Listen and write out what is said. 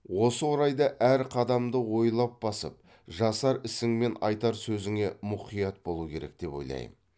осы орайда әр қадамды ойлап басып жасар ісің мен айтар сөзіңе мұқият болу керек деп ойлаймын